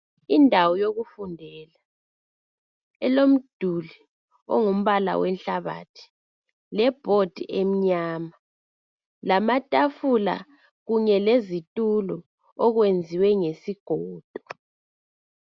Indawo yokufundela elomduli ongumbala wenhlabathi lebhodi emnyama lamatafula kunye lezitulo okwenziwe ngesigodo.